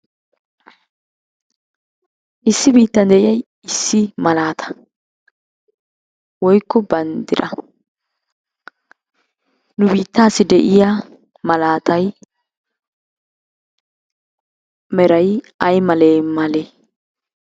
Issi biittan de"iyay issi malaata woyikko banddira. Nu biittaassi de"iyaa malaatay meray ay malee male?